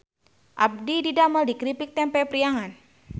Abdi didamel di Kripik Tempe Priangan